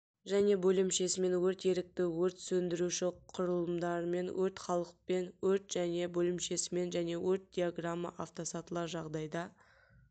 және бөлімшесімен өрт ерікті өрт сіндіруші құрылымдарымен өрт халықпен өрт және бөлімшесімен және өрт диаграмма автосатылар жағдайда